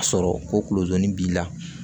A sɔrɔ ko kulodoni b'i la